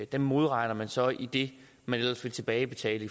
dem modregner man så i det man ellers ville tilbagebetale